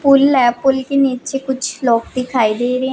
पुल है पुल के नीचे कुछ लोग दिखाई दे रहे--